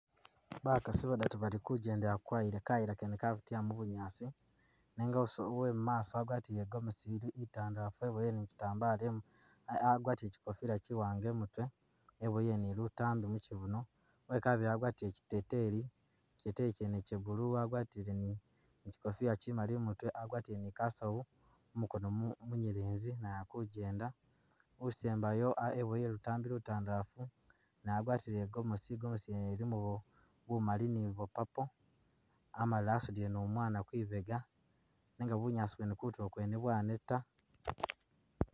Bakaasi babili balikujjendela ku kayila, kayila kene kabitila mu bunyaasi nenga uso uwemumaaso wagwatile igomesi ili itandalafu weboyele ni Kyitambala imutwe, agwatile kyikofila kyiwanga imutwe eboyele ni lutambi mukyibuno ,wekabili agwatile kyiteteyi ,kyiteteyi kyene kye blue wagwatile ni kyikofila kyimaali imutwe agwatile ni kasawu mumukono mu munyelezi naye alikujjenda, usembayo ah weboyele lutambi lutandalafu naye agwatile igomasi ,igomasi yene ilimo bumaali ni bwo purple amala asudile ni umwana kwibega nenga bunyaasi bwene kutulo kwene bwaneta